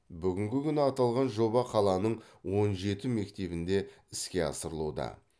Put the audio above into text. бүгінгі күні аталған жоба қаланың он жеті мектебінде іске асырылуда